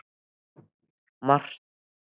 Marteinn bað gestinn að fylgja sér til biskupsstofu.